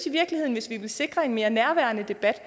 i virkeligheden vil sikre en mere nærværende debat